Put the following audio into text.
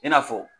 I n'a fɔ